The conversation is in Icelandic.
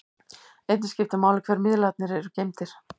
Einnig skiptir máli hvernig miðlarnir eru geymdir.